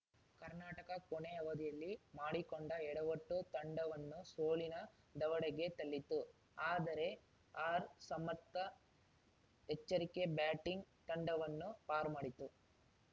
ಕರ್ನಾಟಕ ಕೊನೆ ಅವಧಿಯಲ್ಲಿ ಮಾಡಿಕೊಂಡ ಎಡವಟ್ಟು ತಂಡವನ್ನು ಸೋಲಿನ ದವಡೆಗೆ ತಳ್ಳಿತ್ತು ಆದರೆ ಆರ್‌ಸಮರ್ಥ ಎಚ್ಚರಿಕೆ ಬ್ಯಾಟಿಂಗ್‌ ತಂಡವನ್ನು ಪಾರು ಮಾಡಿತು